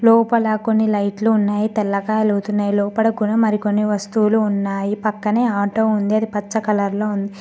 లోపల కొన్ని లైట్లు ఉన్నాయ్ తెల్లగా ఎలుగుతున్నాయ్ లోపట కూడా మరికొన్ని వస్తువులు ఉన్నాయి పక్కనే ఆటో ఉంది పచ్చ కలర్ లో ఉంది.